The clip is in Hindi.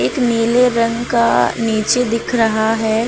एक नीले रंग का नीचे दिख रहा है।